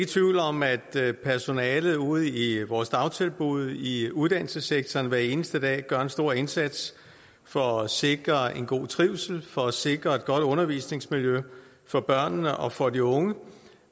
tvivl om at personalet ude i vores dagtilbud i uddannelsessektoren hver eneste dag gør en stor indsats for at sikre en god trivsel og for at sikre et godt undervisningsmiljø for børnene og for de unge